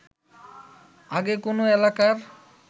আগে কোনো এলাকার